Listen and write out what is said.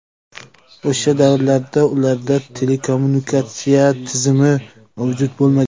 O‘sha davrlarda ularda telekommunikatsiya tizimi mavjud bo‘lmagan.